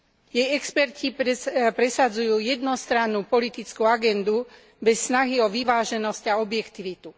Jej experti presadzujú jednostrannú politickú agendu bez snahy o vyváženosť a objektivitu.